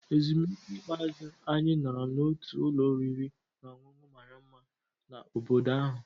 Ezumike ikpeazụ, anyị nọrọ n'otu ụlọ oriri na ọṅụṅụ mara mma na obodo ahụ.